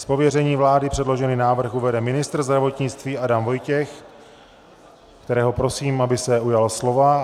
Z pověření vlády předložený návrh uvede ministr zdravotnictví Adam Vojtěch, kterého prosím, aby se ujal slova.